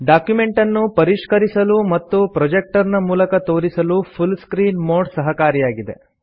ಡಾಕ್ಯುಮೆಂಟನ್ನು ಪರಿಷ್ಕರಿಸಲು ಮತ್ತು ಪ್ರೊಜೆಕ್ಟರ್ ನ ಮೂಲಕ ತೋರಿಸಲು ಫುಲ್ ಸ್ಕ್ರೀನ್ ಮೋಡ್ ಸಹಕಾರಿಯಾಗಿದೆ